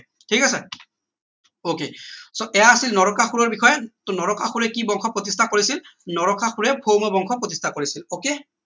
ঠিক আছে ok so এইয়া আছিল নৰকাসুৰৰ বিষয়ে টৌ নৰকাসুৰে কি বংশ প্ৰতিষ্ঠা কৰিছিল নৰকাসুৰে ভৌম বংশ প্ৰতিষ্ঠা কৰিছিল ok